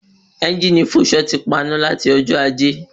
Ẹ́ngìnì ọ̀kadà Fúnṣọ̀ ti paná lati ọjọ́ ajé